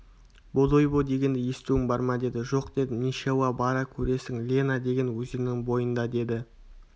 бодойбо дегенді естуің бар ма деді жоқ дедім нешауа бара көресің лена деген өзеннің бойында деді